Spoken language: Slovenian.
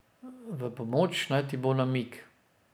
V pomoč naj ti bo namig.